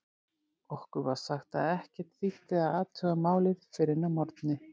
Okkur var sagt að ekkert þýddi að athuga málið fyrr en að morgni.